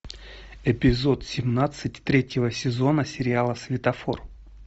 эпизод семнадцать третьего сезона сериала светофор